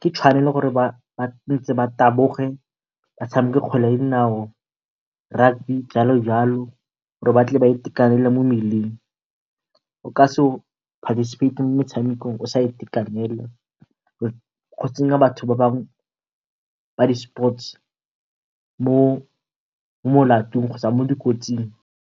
Ke tshwanelo gore tshwantse ba taboge ba tshameke kgwele ya dinao, rugby jalo le jalo gore ba tle ba itekanele mo mmeleng. O ka se participate mo motshamekong o sa itekanela go tsenya batho ba bangwe ba di-sports mo molatong kgotsa mo dikotsing.